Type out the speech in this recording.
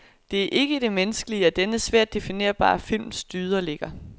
Det er ikke i det menneskelige, at denne svært definerbare films dyder ligger.